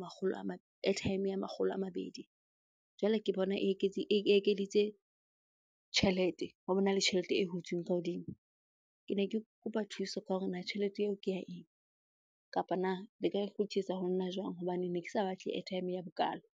makgolo airtime ya makgolo a mabedi. Jwale ke bona e ekeditse tjhelete bona le tjhelete e hutsweng ka hodimo. Ke ne ke kopa thuso ka hore na tjhelete eo ke ya eng? Kapa na le ka ho nna jwang? hobane ne ke sa batle airtime ya bokalo.